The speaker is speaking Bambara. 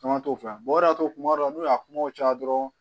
Caman t'o fɔ o de y'a to kuma dɔw n'u y'a kumaw caya dɔrɔn